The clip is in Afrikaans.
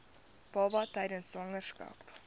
baba tydens swangerskap